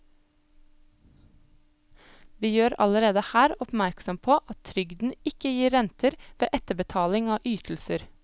Vi gjør allerede her oppmerksom på at trygden ikke gir renter ved etterbetaling av ytelser.